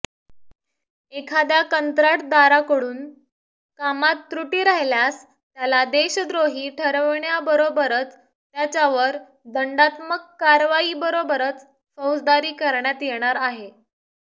एखाद्या कंत्राटदराकडून कामात त्रुटी राहिल्यास त्याला देशद्रोही ठरवण्याबरोबरच त्याच्यावर दंडात्मक कारवाईबरोबरच फौजदारी करण्यात येणार आहे